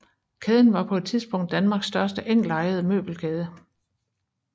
Kæden var på et tidspunkt Danmarks største enkeltejede møbelkæde